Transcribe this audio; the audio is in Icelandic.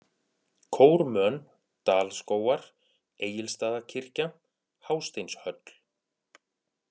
Kórmön, Dalskógar, Egilsstaðakirkja, Hásteinshöll